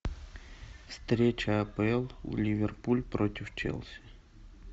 встреча апл ливерпуль против челси